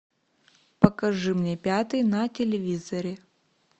покажи мне пятый на телевизоре